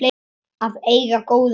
Að eiga góða dóttur.